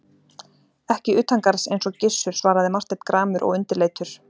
Ekki utangarðs eins og Gizur, svaraði Marteinn gramur og undirleitur.